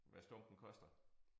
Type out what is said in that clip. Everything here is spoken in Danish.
Hvad stumpen koster